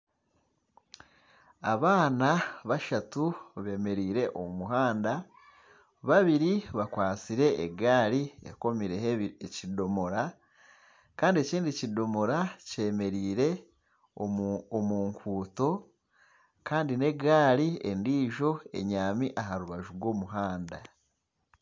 Abaana bashatu bemereire omu muhanda babiri bakwatsire egaari ekomirweho ekidomora kandi ekindi ekidomora kyemereire omu nkuuto kandi negaari endiijo ebyami aha rubaju rw'omuhanda.